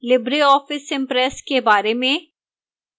libreoffice impress के बारे में